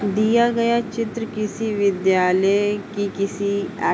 दिया गया चित्र किसी विद्यालय की किसी ऐक --